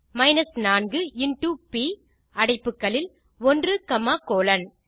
minus 4 into ப் அடைப்புகளில் 1 comma colon